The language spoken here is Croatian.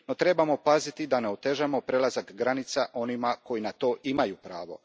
No, trebamo paziti da ne otežamo prelazak granica onima koji na to imaju pravo.